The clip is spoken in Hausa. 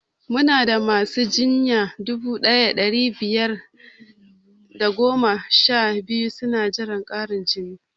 Muna da masu jinya dubu ɗaya da ɗari biyar da goma sha biyu suna jiran ƙarin jini